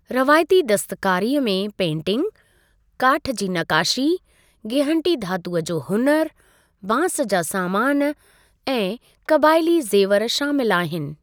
रवायती दस्तकारीअ में पेंटिंग, काठु जी नक़ाशी, गिहन्टी धातूअ जो हुनुरु, बांसु जा सामानु, ऐं क़बाइली ज़ेवर शामिलु आहिनि।